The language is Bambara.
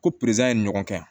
Ko ye ɲɔgɔn kɛ